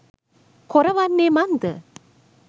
කොර වන්නේ මන්ද?